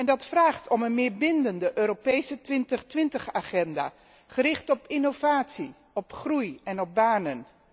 Dat vraagt om een meer bindende Europese 2020 agenda, gericht op innovatie, op groei en op banen.